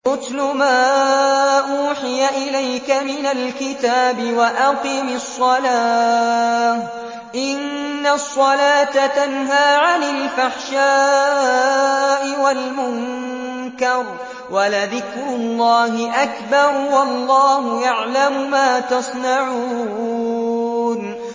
اتْلُ مَا أُوحِيَ إِلَيْكَ مِنَ الْكِتَابِ وَأَقِمِ الصَّلَاةَ ۖ إِنَّ الصَّلَاةَ تَنْهَىٰ عَنِ الْفَحْشَاءِ وَالْمُنكَرِ ۗ وَلَذِكْرُ اللَّهِ أَكْبَرُ ۗ وَاللَّهُ يَعْلَمُ مَا تَصْنَعُونَ